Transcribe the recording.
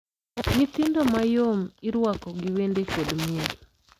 Nyithindo mayom irwako gi wende kod miel.